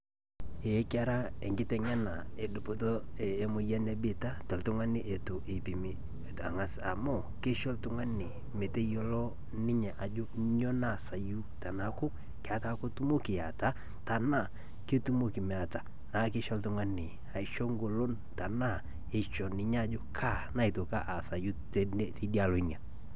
Eeh kera enkiteng'ena edupoto eh emoyan ebiita toltungani eitu  eipimi eitang'as amu keisho ltung'ani meteyiolo ninye ajo nyoo naasayu tenaaku ketaa ketumoki eata tanaa ketumoki meata, naakeisho ltung'ani aisho ngolon tenaa eisho ninye ajo kaa naaitoki aasayu teidialo enye.